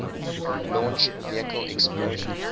launch vehicle explosion